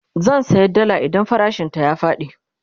zan saya dalla idan farashin ta ya Faɗi